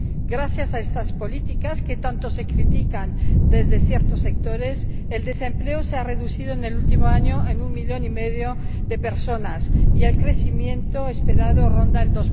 Gracias a estas políticas, que tanto se critican desde ciertos sectores, el desempleo se ha reducido en el último año en un millón y medio de personas y el crecimiento esperado ronda el